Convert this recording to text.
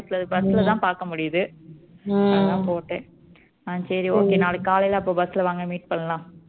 அஹ் office ல bus ல தான் பாக்க முடியுது அதான் போட்டேன அஹ் சரி okay நாளைக்கு காலையில அப்போ bus ல வாங்க meet பண்ணலாம்